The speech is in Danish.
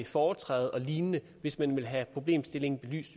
foretræde og lignende hvis man vil have problemstillingen